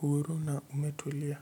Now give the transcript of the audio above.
huru na ume tulia.